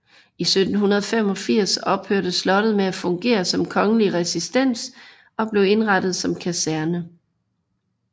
I 1785 ophørte slottet med at fungere som kongelig residens og blev indrettet som kaserne